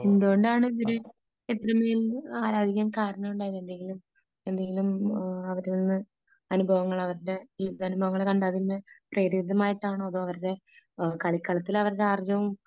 എന്തുകൊണ്ടാണ് ഇവരെ ഇത്രമേൽ ആരാധിക്കാൻ കാരണമുണ്ടായത് ? എന്തെങ്കിലും എന്തെങ്കിലും അവരിൽ നിന്ന് അനുഭവങ്ങൾ അവരുടെ അനുഭവങ്ങൾ കണ്ട് അതിൽ നിന്ന് പ്രേരിതമായിട്ടാണോ അല്ലെങ്കിൽ കളിക്കളത്തിൽ അവരുടെ ആർജ്ജവം